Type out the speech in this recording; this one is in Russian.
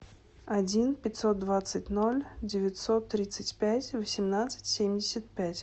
один пятьсот двадцать ноль девятьсот тридцать пять восемнадцать семьдесят пять